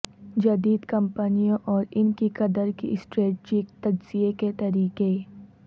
جدید کمپنیوں اور ان کی قدر کی اسٹریٹجک تجزیہ کے طریقے